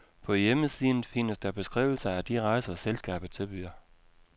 På hjemmesiden findes der beskrivelser af de rejser, selskabet tilbyder.